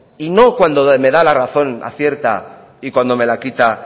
y no cuando me da la razón acierta y cuando me la quita